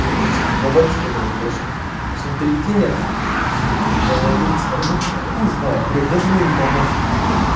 там несколько гигабайт что-ли кэша пусть он перекинет я зайду посмотрю ну хуй знает блядь я думаю не поможет